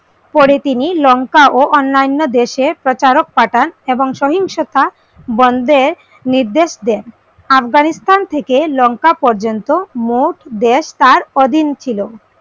পরে তিনি লঙ্কা ও অন্নান্য দেশে প্রচারক পাঠান এবং সহিংষুতা বন্ধের নির্দেশ দেন আফগানিস্তান থেকে লঙ্কা পর্যন্ত মোট বেশ তার অধীন ছিল।